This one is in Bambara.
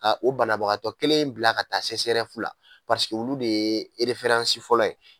Ka o banabagatɔ kelen in bila ka taa sesɛrɛfu la paseke olu de ye ereferansi fɔlɔ ye